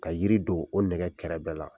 Ka yiri don o nɛgɛ kɛrɛ bɛɛ la;